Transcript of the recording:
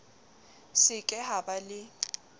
se ke ha ba le